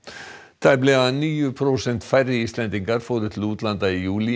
tæplega níu prósent færri Íslendingar fóru til útlanda í júlí